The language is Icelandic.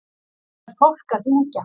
Það er fólk að hringja.